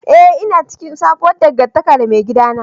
Eh ina cikin sabuwar dangantaka da maigidana.